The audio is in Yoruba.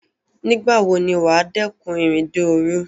Nígbà wo ni wà á dẹ́kun ìrìnde òrun?